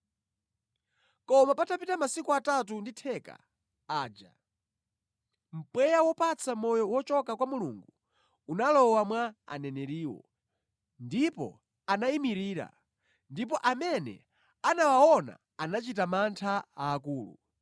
Koma patapita masiku atatu ndi theka aja, mpweya wopatsa moyo wochoka kwa Mulungu unalowa mwa aneneriwo, ndipo anayimirira, ndipo amene anawaona anachita mantha aakulu.